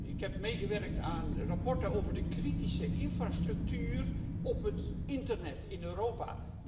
Ik heb meegewerkt aan verslagen over de kritische infrastructuur op het internet in Europa.